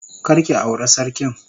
Kar ki aure sarkin.